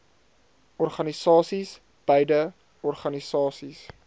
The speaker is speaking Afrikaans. organisasies beide organisasies